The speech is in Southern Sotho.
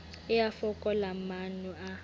e a fokola maano a